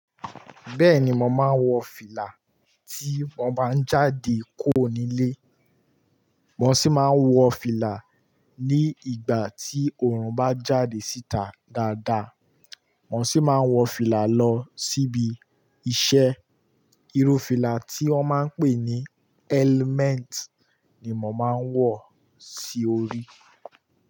Bẹ́ẹ̀ni, mo máa ń wọ fìlà tí mo bá ń jáde kò nílé. Mo sì máa ń wọ fìlà ní ìgbà tí òòrùn bá jáde síta dáadáa. Mo sì máa ń wọ fìlà lọ síbi iṣẹ́. Iru fìlà tí wọ́n máa ń pè ní element ni mo máa ń wọ sí orí.